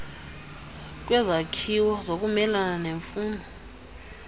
kwezakhiwo zokumelana nemfuno